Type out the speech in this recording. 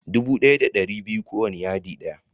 Dubu ɗaya da ɗari biyu ko wanna yadi ɗaya.